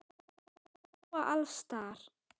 Þeir smjúga alls staðar.